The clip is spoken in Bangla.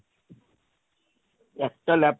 একটা lap